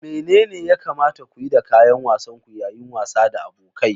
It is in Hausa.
Menene ya kamata ku yi da kayan wasan ku yayin wasa da abokai?